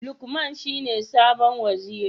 Lukman shine sabon Waziri.